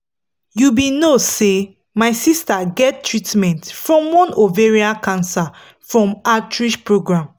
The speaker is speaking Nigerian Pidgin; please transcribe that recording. you be no say my sister get treatment from one ovarian cancer from outreach program